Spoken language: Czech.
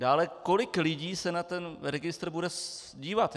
Dále, kolik lidí se na ten registr bude dívat?